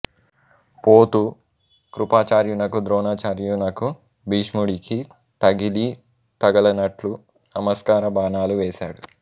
పోతూ కృపాచార్యునకు ద్రోణాచార్యునకు భీష్ముడికీ తగిలీ తగలనట్లు నమస్కార బాణాలు వేసాడు